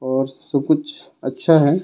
और सब कुछ अच्छा हे.